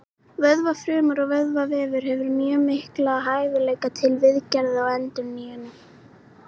Vöðvafrumur og vöðvavefur hefur mjög mikla hæfileika til viðgerða og endurnýjunar.